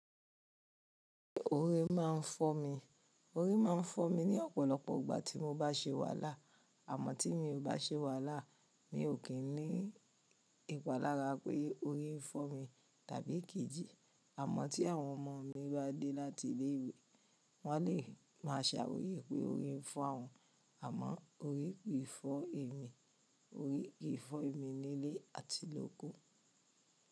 Orí máa ń fọ́ mi, orí máa ń fọ́ mi ní ọ̀pọ̀lọpọ̀ ìgbà tí mo bá ṣè wàhálà. Àmọ́ tí mi ò bá ṣe wàhálà mi ò kí n ní ìpalára pé orí ń fọ́ mi tàbí kì í jì. Àmọ́ tí àwọn ọmọ mi bá dé láti ilé ìwé, wọ́n lè máa sàrọ̀yé pé orí ń fọ́ awọn. Àmọ́ orí ki fọ́ èmi, orí ki fọ́ èmi ní ilé àti lóko.